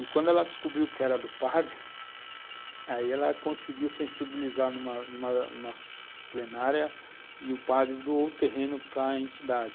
E quando ela descobriu que era do padre, aí ela conseguiu sensibilizar numa numa plenária e o padre doou o terreno para a entidade.